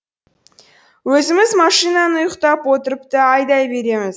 өзіміз машинаны ұйықтап отырып та айдай береміз